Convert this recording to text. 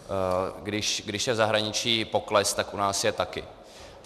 Když je v zahraničí pokles, tak u nás je taky.